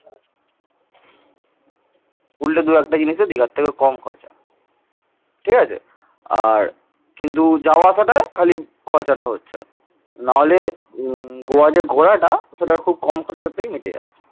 উল্টে দু একটা জিনিসে দিঘার থেকে কম খরচা ঠিক আছে। আর কিন্তু যাওয়া আসাটা খালি খরচটা হচ্ছে নাহলে উম গোয়া যে ঘোরাটা সেটা খুব কম খরচাতেই মিটে যাচ্ছে।